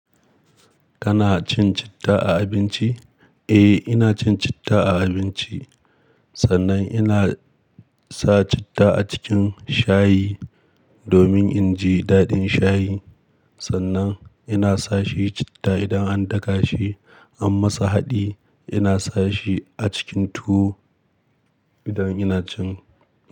Kana cin citta a abinci? Eh, ina cin citta a abinci. Sannan ina sa citta a cikin shayi domin in ji daɗin shayi. Sannan ina sa shi citta idan an daka shi, an masa haɗi. Ina sa shi a cikin tuwo idan ina cin tuwo.